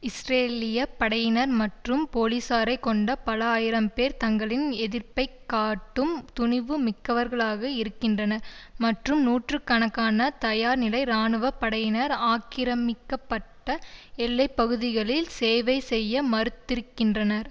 இஸ்ரேலிய படையினர் மற்றும் போலீசாரைக் கொண்ட பல ஆயிரம்பேர் தங்களின் எதிர்ப்பை காட்டும் துணிவு மிக்கவர்களாக இருக்கின்றனர் மற்றும் நூற்று கணக்கான தயார்நிலை இராணுவ படையினர் ஆக்கிரமிக்கப்பட்ட எல்லைப்பகுதிகளில் சேவை செய்ய மறுத்திருக்கின்றனர்